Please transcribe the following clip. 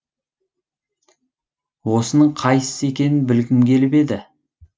осының қайсысы екенін білгім келіп еді